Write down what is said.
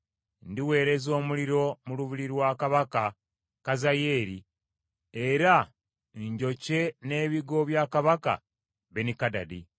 Ndiweereza omuliro mu lubiri lwa kabaka Kazayeeri era njokye n’ebigo bya kabaka Benikadadi.